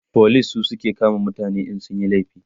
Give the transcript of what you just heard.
police su suke kama mutane in sun Yi laifi